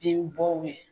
Denbɔw ye